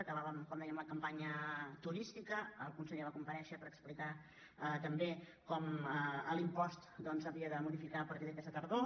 aca·bàvem com dèiem la campanya turística el conse·ller va comparèixer per explicar també com l’impost doncs s’havia de modificar a partir d’aquesta tardor